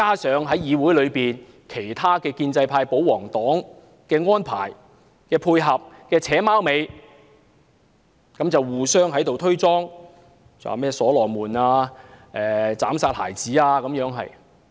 此外，議會有建制派、保皇黨的安排、配合和"扯貓尾"，互相推卸責任，把修正案說成所羅門斬殺孩子的故事。